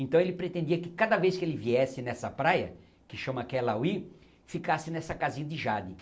Então ele pretendia que cada vez que ele viesse nessa praia, que chama Kelawi, ficasse nessa casinha de Jade.